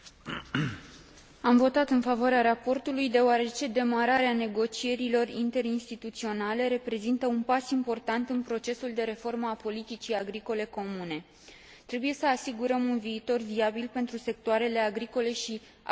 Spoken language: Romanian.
Am votat în favoarea raportului, deoarece demararea negocierilor interinstituționale reprezintă un pas important în procesul de reformă a politicii agricole comune. Trebuie să asigurăm un viitor viabil pentru sectoarele agricole și agroalimentare.